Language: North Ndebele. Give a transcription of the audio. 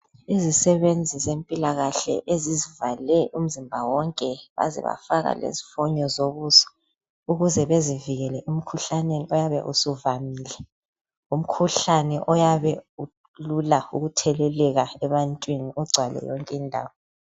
Izisebenzi zempilakahle ezizivale umzimba wonke baze bafaka lesifonyo zokuzwa ukuze bezivikele emkhuhlaneni oyabe usuvamile . Umkhuhlane oyabe ulula ukutheleleka ebantwini ugcwale yonke indawo.